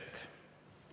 Seda soovi ei ole.